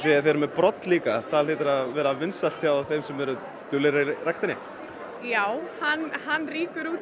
að þið eruð með brodd hann hlýtur að vera vinsæll hjá þeim sem eru duglegir í ræktinni já hann hann rýkur út í